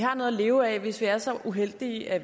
har noget at leve af hvis man er så uheldig at